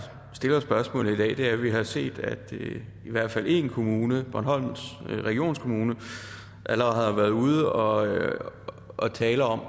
stiller spørgsmålet i dag er at vi har set at i hvert fald én kommune bornholms regionskommune allerede har været ude og tale om